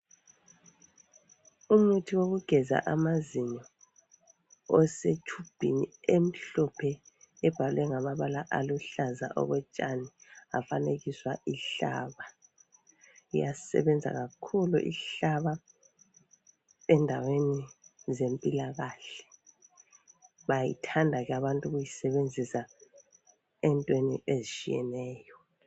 Imuthi wokugeza amazinyo ose tshubhini emhlophe ebhalwe ngamabala aluhlaza okotshani yafanekiswa ishama, iyasebenza kakhulu ishama endaweni zempilakahle bayayithanda abantu ukuyisebenzisa entweni ezitshiyeneyo